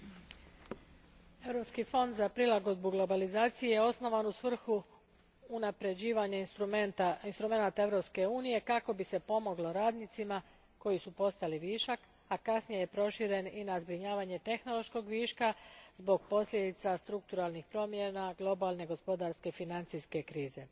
Gospođo predsjedateljice, Europski fond za prilagodbu globalizaciji osnovan je u svrhu unapređivanja instrumenata Europske unije kako bi se pomoglo radnicima koji su postali višak, a kasnije je proširen i na zbrinjavanje tehnološkog viška zbog posljedica strukturalnih promjena i globalne gospodarske financijske krize.